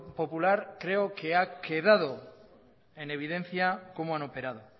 popular creo que ha quedado en evidencia cómo han operado